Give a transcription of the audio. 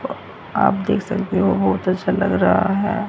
आप देख सकते हो होटल सा लग रहा है।